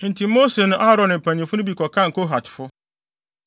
Enti Mose ne Aaron ne mpanyimfo no bi kɔkan Kohatfo